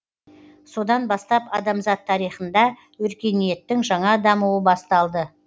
содан бастап адамзат тарихында өркениеттің жаңа дамуы басталды